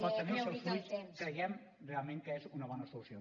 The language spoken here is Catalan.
pot tenir els seus fruits creiem realment que és una bona solució